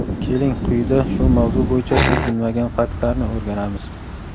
keling quyida shu mavzu bo‘yicha siz bilmagan faktlarni o‘rganamiz.